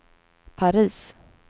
Paris